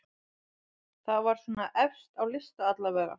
Það var svona efst á lista allavega.